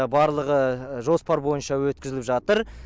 барлығы жоспар бойынша өткізіліп жатыр